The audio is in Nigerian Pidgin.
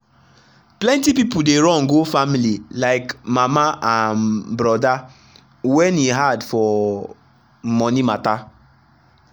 plenty people dey run go family like mama and brother when e hard for money matter.